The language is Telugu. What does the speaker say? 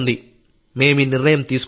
మేం ఈ నిర్ణయం తీసుకున్నాం